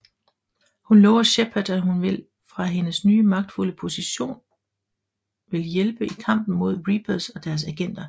Hun lover Shepard at hun vil fra hendes nye magtfulde position vil hjælpe i kampen imod Reapers og deres agenter